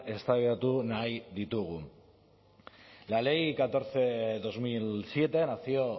eztabaidatu nahi ditugu la ley catorce barra dos mil siete nació